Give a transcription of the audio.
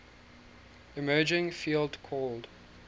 emerging field called